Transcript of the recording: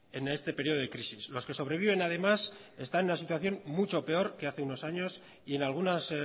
en este periodo de crisis los que sobreviven además están en una situación mucho peor que hace unos años y en algunas